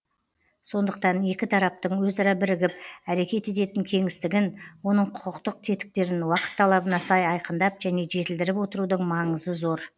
сондықтан екі тараптың өзара бірігіп әрекет ететін кеңістігін оның құқықтық тетіктерін уақыт талабына сай айқындап және жетілдіріп отырудың маңызы зор